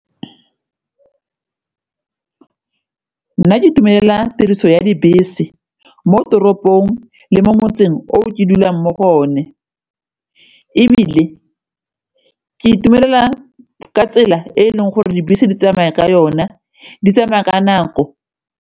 Nna ke itumelela tiriso ya dibese mo toropong le mo motseng o ke dulang mo go one ebile ke itumelela ka tsela e e leng gore dibese di tsamaya ka yona, di tsamaya ka nako.